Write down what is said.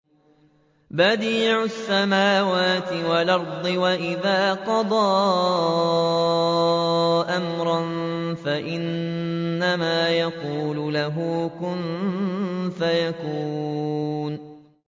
بَدِيعُ السَّمَاوَاتِ وَالْأَرْضِ ۖ وَإِذَا قَضَىٰ أَمْرًا فَإِنَّمَا يَقُولُ لَهُ كُن فَيَكُونُ